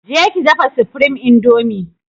Je ki dafa supreme indomie!